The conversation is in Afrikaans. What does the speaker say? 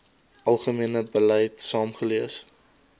algemene beleid saamgelees